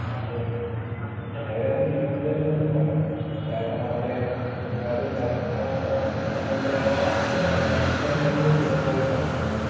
അതെന്നെ ചിലവരത് തിരുവനന്തപുരം എന്നും പറയും കാരണം നമ്മളെ ഒരുപാട് സർക്കാർ സ സംബന്ധായിട്ടുള്ളെ ഒരുപാട് കേന്ദ്രങ്ങള് തിരുവനന്തപുരത്താണല്ലോ